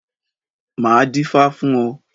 Máa dífá fún ọ.